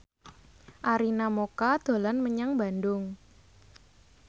Arina Mocca dolan menyang Bandung